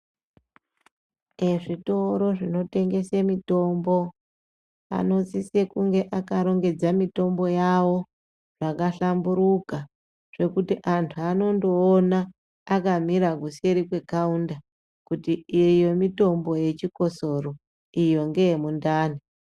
Ezvitoro zvinotengese mitombo anosise kunge akarongedza mitombo yavo zvakahlamburika ka zvekuti antu anondoona akamira kuseri kwekaunda kuti iyo mitombo yechikosoro iyo mitombo yemundani.